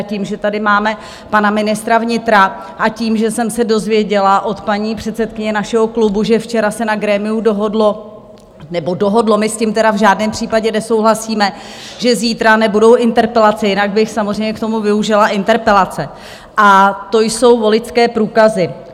A tím, že tady máme pana ministra vnitra a tím, že jsem se dozvěděla od paní předsedkyně našeho klubu, že včera se na grémiu dohodlo - nebo dohodlo, my s tím tedy v žádném případě nesouhlasíme - že zítra nebudou interpelace, jinak bych samozřejmě k tomu využila interpelace, a to jsou voličské průkazy.